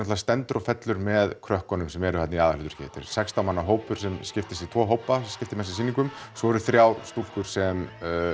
stendur og fellur með krökkunum sem eru þarna í aðalhlutverki þetta er sextán manna hópur sem skiptist í tvo hópa sem skipta með sér sýningum svo eru þrjár stúlkur sem